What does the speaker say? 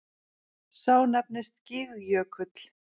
Sá nefnist Gígjökull.